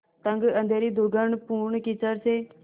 तंग अँधेरी दुर्गन्धपूर्ण कीचड़ से